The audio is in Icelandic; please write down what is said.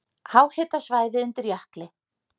Háhitasvæði undir jökli